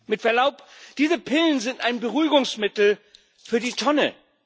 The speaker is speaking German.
Mit Verlaub, diese Pillen sind ein Beruhigungsmittel für die Tonne.